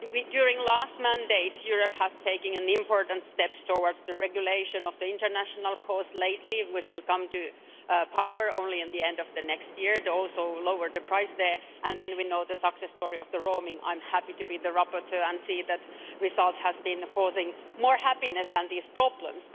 During the last mandate, Europe has taken important steps towards the regulation of the international calls lately, which will come to power only at the end of next year and will also lower the price there. And then we know the success story of the roaming. I'm happy to be the rapporteur and see that results have been causing more happiness than these problems.